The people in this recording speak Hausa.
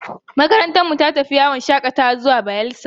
Makarantarmu ta tafi yawon shakatawa zuwa tashar ruwa ta Bayelsa.